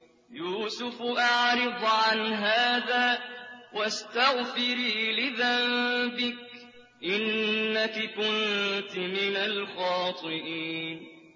يُوسُفُ أَعْرِضْ عَنْ هَٰذَا ۚ وَاسْتَغْفِرِي لِذَنبِكِ ۖ إِنَّكِ كُنتِ مِنَ الْخَاطِئِينَ